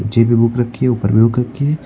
नीचे भी बुक रखी है ऊपर भी बुक रखी है।